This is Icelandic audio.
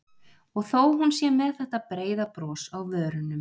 Og þó að hún sé með þetta breiða bros á vörunum.